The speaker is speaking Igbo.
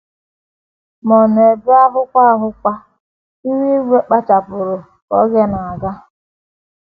Ma n’ebe ahụkwa ahụkwa, ihu igwe gbachapụrụ ka oge na - aga.